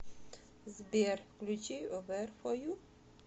сбер включи вэр фо ю